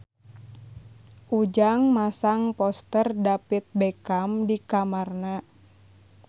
Ujang masang poster David Beckham di kamarna